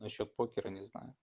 на счёт покера не знаю